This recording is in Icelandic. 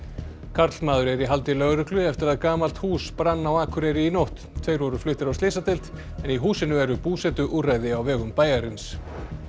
karlmaður er í haldi lögreglu eftir að gamalt hús brann á Akureyri í nótt tveir voru fluttir á slysadeild en í húsinu eru búsetuúrræði á vegum bæjarins